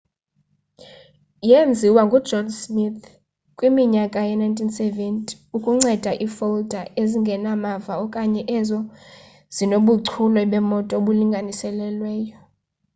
yeenziwa ngujohn smith kwiminyaka yee-1970 ukunceda iifolda ezingenamava okanye ezo zinobuchule bemoto obulinganiselweyo